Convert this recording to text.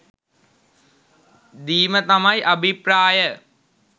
දීම තමයි අභිප්‍රාය